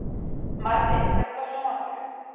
Marri, kveiktu á sjónvarpinu.